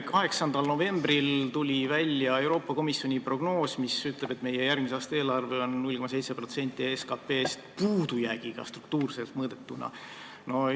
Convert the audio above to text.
8. novembril tuli välja Euroopa Komisjoni prognoos, mis ütleb, et meie järgmise aasta eelarve on struktuurse puudujäägiga 0,7% SKP-st.